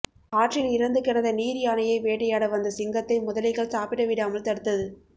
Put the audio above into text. ஆற்றில் இறந்து கிடந்த நீர் யானையை வேட்டையாட வந்த சிங்கத்தை முதலைகள் சாப்பிட விடாமல் தடுத்தது